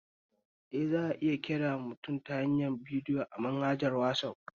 Eh, za'a iya kiran mutum ta hanyar bidiyo a manhaja ta wasaf